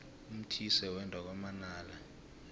umthise wenda kwamanala